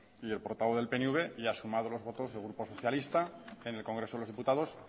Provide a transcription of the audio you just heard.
y el portavoz del pnv y ha sumado los votos del grupo socialista en el congreso de los diputados